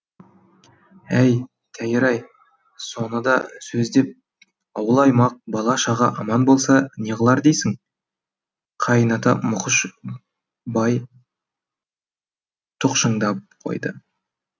ей тәйір ай соны да сөз деп ауыл аймақ бала шаға аман болса не қылар дейсің қайыната мұқыш бай тұқшыңдап қойды